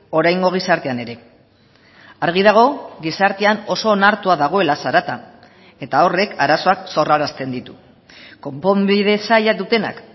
oraingo gizartean ere argi dago gizartean oso onartua dagoela zarata eta horrek arazoak sorrarazten ditu konponbide zaila dutenak